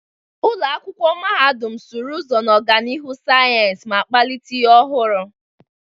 Ụlọ akwụkwọ mahadum sụrụ ụzọ n'ọganihu sayensị ma kpalite ihe ọhụrụ.